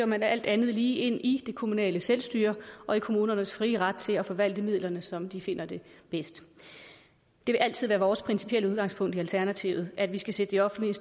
man alt andet lige ind i det kommunale selvstyre og i kommunernes frie ret til at forvalte midlerne som de finder det bedst det vil altid være vores principielle udgangspunkt i alternativet at vi skal sætte de offentlige